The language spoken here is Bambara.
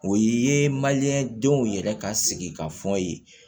O ye manje denw yɛrɛ ka sigi ka fɔ ye